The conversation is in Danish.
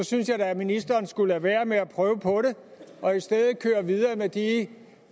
synes jeg da ministeren skulle lade være med at prøve på det og i stedet køre videre med de